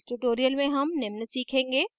इस tutorial में हम निम्न सीखेंगे